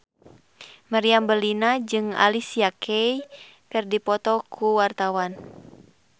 Meriam Bellina jeung Alicia Keys keur dipoto ku wartawan